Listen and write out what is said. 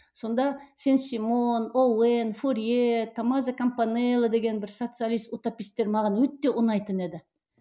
сонда сен симон боуэн фьоре томмазо кампанелла деген бір социалист утопистер маған өте ұнайтын еді